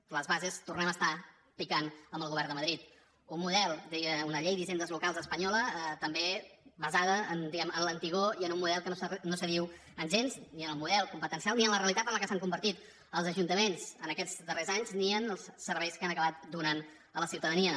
les bases tornem a estar picant amb el govern de madrid un model deia una llei d’hisendes locals espanyola també basada diguem ne en l’antigor i en un model que no s’adiu gens ni amb el model competencial ni amb la realitat en què s’han convertit els ajuntaments aquests darrers anys ni amb els serveis que han acabat donant a la ciutadania